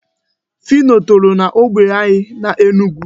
Phyno toro n'ógbè anyị n'Enugu.